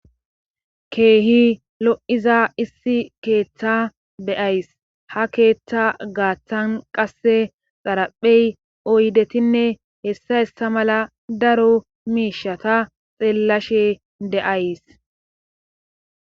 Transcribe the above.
keehi lo7iza issi keeththa beyays ha keeththa gaaththan qasse xaraphey oydetinne hessa issa mala daro miishata xeellashe de7ays